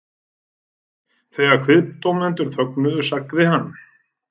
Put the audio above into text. Þegar kviðdómendur þögnuðu sagði hann